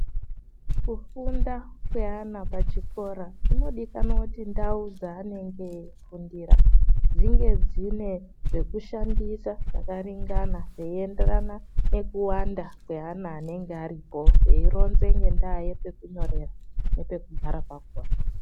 Kufunda kwevana pachikora kunodikanwa kuti ndau dzaanenge eifundira dzinge dzine pekushandisa pakaringana zveienderana nekuwanda kweana anenge aripo teironze ngendaya yepekunyorera nepekugara pakhona.